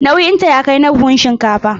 Nauyinta ya kai na buhun shinkafa.